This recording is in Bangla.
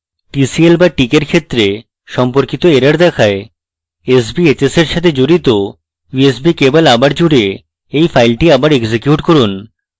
tcl/tk in ক্ষেত্রে সম্পর্কিত error দেখায় sbhs in সাথে জুড়িত usb ক্যাবল আবার জুড়ে in file আবার execute করুন